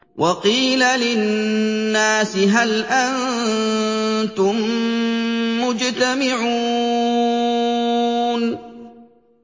وَقِيلَ لِلنَّاسِ هَلْ أَنتُم مُّجْتَمِعُونَ